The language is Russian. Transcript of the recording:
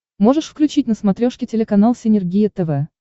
можешь включить на смотрешке телеканал синергия тв